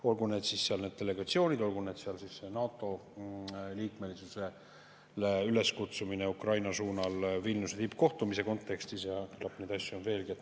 Olgu need siis delegatsioonid, olgu see siis NATO liikmelisuse üleskutsumine Ukraina suunal Vilniuse tippkohtumise kontekstis ja küllap neid asju on veelgi.